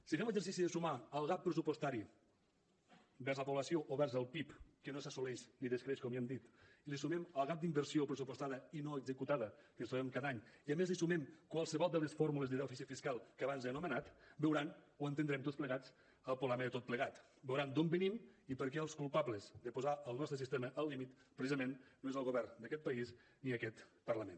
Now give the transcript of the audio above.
si fem l’exercici de sumar al gap pressupostari vers la població o vers el pib que no s’assoleix ni d’escreix com ja hem dit li sumem el gap d’inversió pressupostada i no executada que ens trobem cada any i a més li sumem qualsevol de les fórmules de dèficit fiscal que abans he anomenat veuran o entendrem tots plegats el problema de tot plegat veuran d’on venim i per què els culpables de posar el nostre sistema al límit precisament no és el govern d’aquest país ni aquest parlament